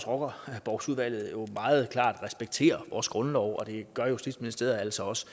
rockerborgsudvalget meget klart respekterer vores grundlov og det gør justitsministeriet altså også